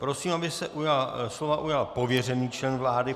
Prosím, aby se slova ujal pověřený člen vlády.